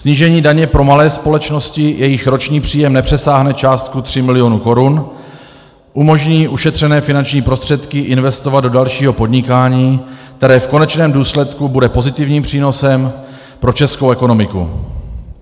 Snížení daně pro malé společnosti, jejichž roční příjem nepřesáhne částku 3 miliony korun, umožní ušetřené finanční prostředky investovat do dalšího podnikání, které v konečném důsledku bude pozitivním přínosem pro českou ekonomiku.